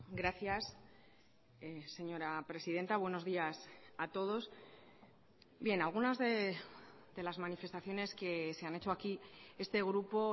gracias señora presidenta buenos días a todos bien algunas de las manifestaciones que se han hecho aquí este grupo